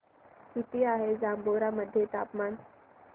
किती आहे जांभोरा मध्ये तापमान